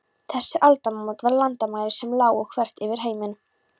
Þessi aldamót voru landamæri sem lágu þvert yfir heiminn.